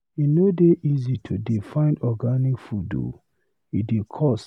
E no dey easy to dey find organic food o, e dey cost.